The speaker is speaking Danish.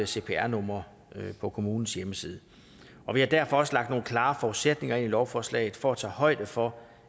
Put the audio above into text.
cpr numre på kommunens hjemmeside og vi har derfor også lagt nogle klare forudsætninger ind i lovforslaget for at tage højde for